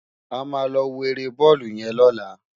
Ámá lò wó éré bòlú yèn lòlá